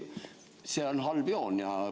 See on halb joon.